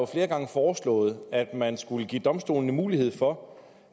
flere gange foreslået at man skulle give domstolene mulighed for